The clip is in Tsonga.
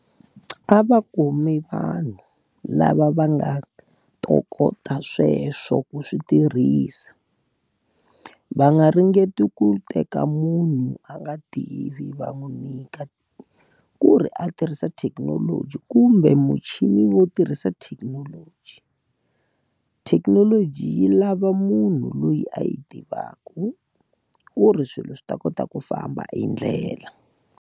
A va kumi vanhu lava va nga ntokota sweswo ku swi tirhisa. Va nga ringeti ku teka munhu a nga tivi va n'wi nyika ku ri a tirhisa thekinoloji kumbe muchini wo tirhisa thekinoloji. Thekinoloji yi lava munhu loyi a yi tivaka, ku ri swilo swi ta kota ku famba hi ndlela.